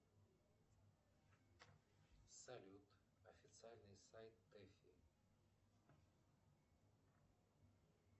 салют официальный сайт тэфи